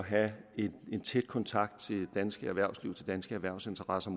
have en tæt kontakt til det danske erhvervsliv til de danske erhvervsinteresser